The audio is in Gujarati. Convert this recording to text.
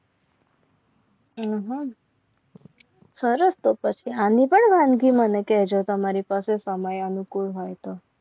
આહ સરસ તો પછી આની પણ વાનગી મને કહેજો તમારી પાસે સમય અનુકૂળ હોય તો